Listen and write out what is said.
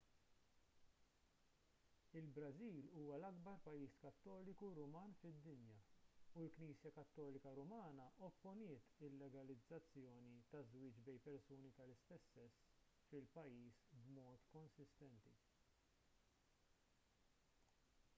il-brażil huwa l-akbar pajjiż kattoliku ruman fid-dinja u l-knisja kattolika rumana opponiet il-legalizzazzjoni taż-żwieġ bejn persuni tal-istess sess fil-pajjiż b'mod konsistenti